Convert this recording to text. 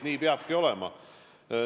Nii peabki olema.